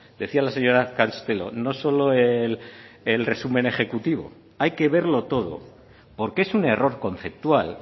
decía la señora castelo no solo el resumen ejecutivo hay que verlo todo porque es un error conceptual